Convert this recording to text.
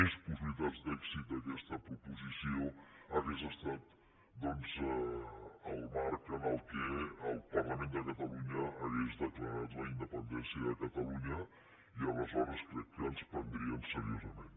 més possibilitats d’èxit aquesta proposició hauria estat el marc en què el parlament de catalunya hagués declarat la independència de catalunya i aleshores crec que ens prendrien serio sament